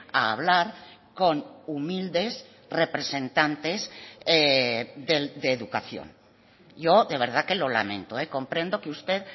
a hablar con humildes representantes de educación yo de verdad que lo lamento comprendo que usted